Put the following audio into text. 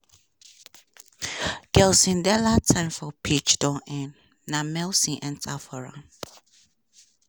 gelson dala time for pitch don end na milson enta for am.